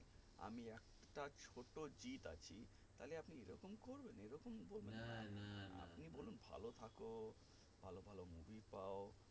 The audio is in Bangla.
আমি একটা ছোটো জিৎ আছি তাহলে আপনি এই রকম করবেন এ রকম করবেন আপনি বলুন ভালো থাকো ভালো ভালো movie পাও